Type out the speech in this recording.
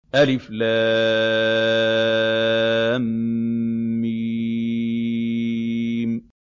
الم